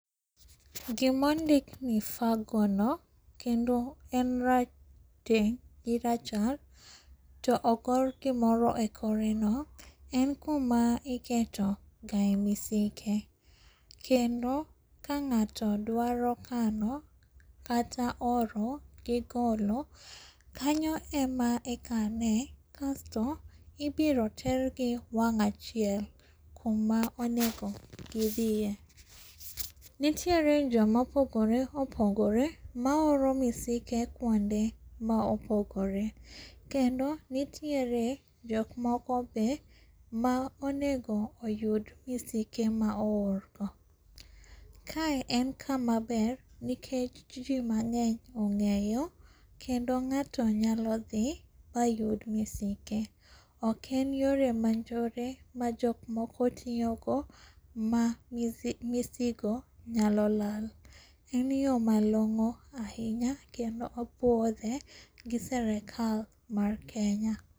Gima ondikni Fagono, kendo en rateng gi rachar to ogor gimoro ekoreno en kuma iketoga emisike. Kendo ka ng'ato dwaro kano, kata oro, gi golo, kanyo ema ikane kasto ibiro tergi wang' achiel kuma onego gi dhie. Nitiere joma opogore opogore ma oro misike kuonde ma opogore. Kendo nitire jok moko be ma onego oyud misike ma oorgo. Kae en kama ber nikech ji mang'eny ong'eyo kendo ng'ato nyalo dhi mayud misike ok en yore manjore ma jok moko tiyogo ma masigo nyalo lal en yoo malong'o ahinya kendo opuodhe gi serikal mar Kenya.